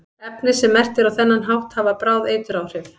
efni sem merkt eru á þennan hátt hafa bráð eituráhrif